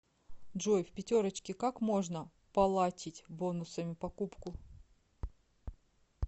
джой в пятерочке как можно полатить бонусами покупку